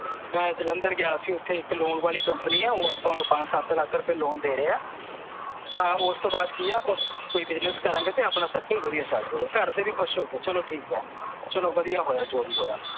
ਮੈਂ ਜਲੰਧਰ ਗਿਆ ਸੀ ਓਥੇ ਇੱਕ ਲੋਨ ਵਾਲੀ ਕੰਪਨੀ ਐ ਓਹ ਆਪਾਂ ਨੂੰ ਪੰਜ ਸੱਤ ਲੱਖ ਰੁਪਏ ਲੋਨ ਦੇ ਰਹੇ ਐ ਤਾਂ ਓਸਤੋਂ ਬਾਅਦ ਆਪਾਂ ਕੋਈ ਬਿਜਨੇਸ ਕਰਾਂਗੇ ਤਾਂ ਆਪਣਾ circle ਵਧੀਆ ਚੱਲ ਜੇ ਗਾ ਘਰਦੇ ਵੀ ਖੁਸ਼ ਹੋ ਗਏ ਚਲੋ ਠੀਕ ਆ ਚਲੋ ਵਧੀਆ ਹੋਇਆ ਜੋ ਵੀ ਹੋਇਆ